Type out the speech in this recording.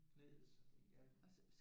Knæet ja